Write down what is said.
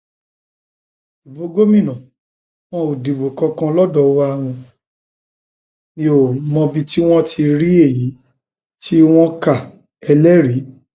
ibo gómìnà wọn ò dìbò kankan lọdọ wa mi ò um mọbi tí inov ti rí èyí um tí wọn káẹlẹrìí